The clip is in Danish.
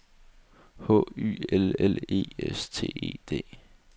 H Y L L E S T E D